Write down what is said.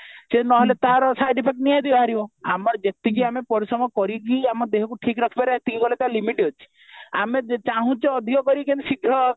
ସେ ନହଲେ ତାର side effect ନିହାତି ବାହାରିବ ଆମର ଯେତିକି ଆମେ ପରିଶ୍ରମ କରିକି ଆମ ଦେହକୁ ଠିକ ରଖିପାରିବ ସେତିକି କଲେ ତା limit ଅଛି ଆମେ ଚାହୁଁଚେ ଅଧିକ କରି କେମିତି ଶୀଘ୍ର